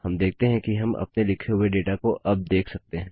हम देखते हैं कि हम अपने लिखे हुए डेटा को अब देख सकते हैं